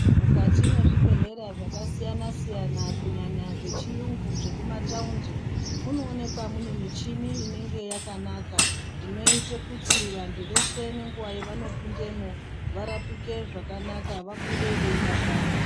Mukati mwezvibhedhlera zvakasiyana siyana kunyanya zvechiyungu zvekumataundi munoonekwa mune michini inenga yakanaka inoite kuti vantu veshe nenguwa yeavano pindemwo varapike zvakanaka vabude veidakara.